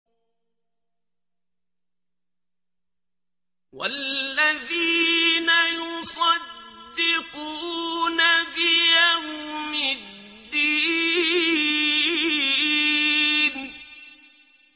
وَالَّذِينَ يُصَدِّقُونَ بِيَوْمِ الدِّينِ